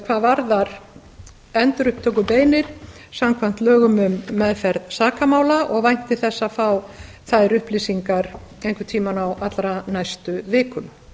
hvað varðar endurupptökubeiðnir samkvæmt lögum um meðferð sakamála og vænti þess að fá þær upplýsingar einhvern tíma á allra næstu vikum